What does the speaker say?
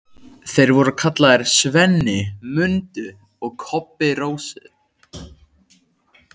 Þeir voru kallaðir SVENNI MUNDU og KOBBI RÓSU.